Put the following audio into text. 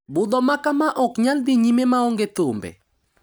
Budho makama ok nyal dhi nyime maonge thumbe.